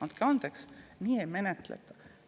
Andke andeks, aga nii ei menetleta!